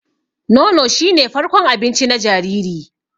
Nono shi ne farkon abinci na jariri.